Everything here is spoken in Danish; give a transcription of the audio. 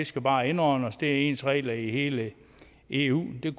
skal bare indordne os for der er ens regler i hele eu det